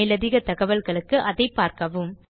மேலதிகத் தகவல்களுக்கு அதைப் பார்க்கவும்